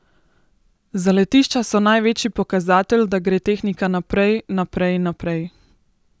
Zaletišča so največji pokazatelj, da gre tehnika naprej, naprej, naprej.